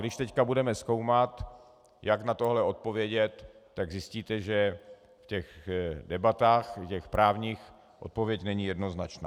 Když teď budeme zkoumat, jak na tohle odpovědět, tak zjistíte, že v těch debatách, v těch právních, odpověď není jednoznačná.